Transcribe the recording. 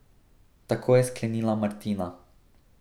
Tako je sklenila Martina.